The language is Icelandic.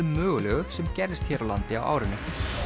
mögulegu sem gerðist hér á landi á árinu